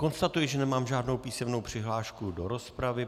Konstatuji, že nemám žádnou písemnou přihlášku do rozpravy.